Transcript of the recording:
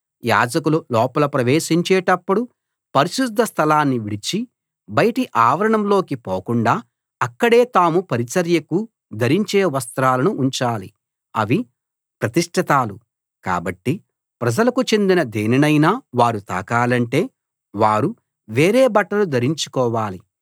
యాజకులు లోపల ప్రవేశించేటప్పుడు పరిశుద్ధ స్థలాన్ని విడిచి బయటి ఆవరణంలోకి పోకుండా అక్కడే తాము పరిచర్యకు ధరించే వస్త్రాలను ఉంచాలి అవి ప్రతిష్ఠితాలు కాబట్టి ప్రజలకు చెందిన దేనినైనా వారు తాకాలంటే వారు వేరే బట్టలు ధరించుకోవాలి